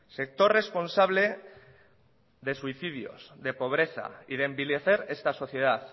sector responsable de suicidios de pobreza y de envilecer esta sociedad